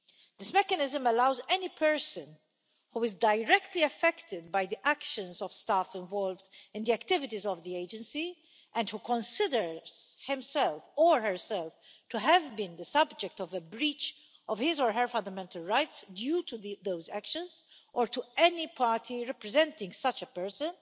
This mechanism allows any person who is directly affected by the actions of staff involved in the activities of the Agency and who considers himself or herself to have been the subject of a breach of his or her fundamental rights due to those actions, or to any party representing such a person,